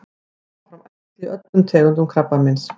koma fram æxli í öllum tegundum krabbameins